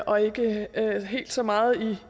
og ikke helt så meget